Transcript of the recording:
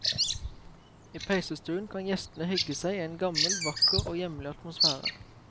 I peisestuen kan gjestene hygge seg i en gammel, vakker og hjemlig atmosfære.